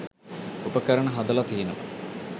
උපකරණ හදල තියෙනව.